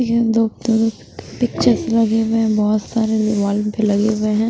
ये दो तरफ पिक्चर्स लगे हुए बहोत सारे दीवाल पे लगे हुए हैं।